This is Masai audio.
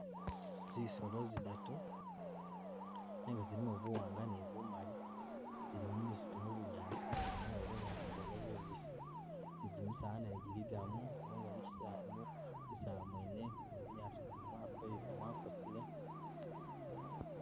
Zisolo zidatu nenga zilimo buwanga ne bumali tsili mumisitu mubunyaasi nenga bunyaasi bwene bubisi ne jimisaala nagyo jiligamo nenga mukisa mubisaalia mwene ne bunyaasi mwene mwakweyuka mwakosele